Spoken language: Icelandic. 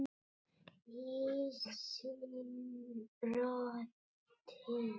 Ísinn brotinn